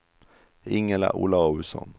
Ingela Olausson